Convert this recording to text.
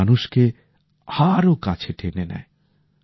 যা মানুষকে আরো কাছে টেনে নেয়